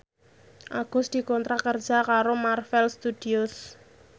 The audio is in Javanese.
Agus dikontrak kerja karo Marvel Studios